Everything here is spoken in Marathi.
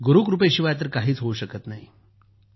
गुरूकृपेशिवाय तर काहीच होऊ शकत नाही जी